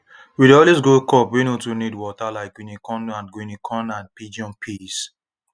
we dey always grow crops wey no too need water like guinea corn and guinea corn and pigeon peas